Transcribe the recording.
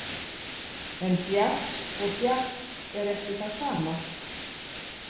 En djass og djass er ekki það sama.